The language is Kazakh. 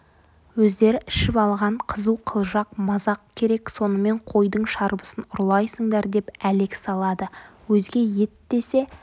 өздері ішіп алған қызу қылжақ-мазақ керек сонымен қойдың шарбысын ұрлайсыңдар деп әлек салады өзге ет десе